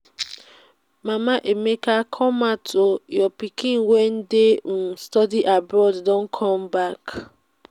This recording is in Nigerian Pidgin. mama emeka come out oo your pikin wey dey um study abroad don come back